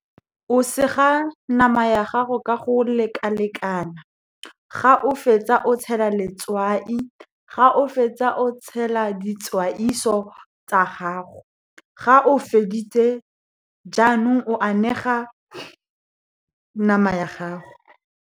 O sega nama ya gago ka go lekalekana, ga o fetsa o tshela letswai, ga o fetsa o tshela tsa gago, ga o feditse jaanong, o anega nama ya gago.